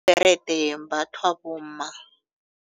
Ibherede yembathwa bomma.